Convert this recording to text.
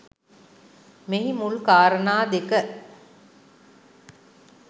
මෙහි මුල් කාරණා දෙක